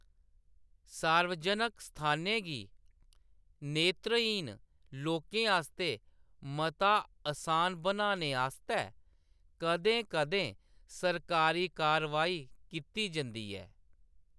सार्वजनक स्थानें गी नेत्रहीन लोकें आस्तै मता असान बनाने आस्तै कदें-कदें सरकारी कार्रवाई कीती जंदी ऐ।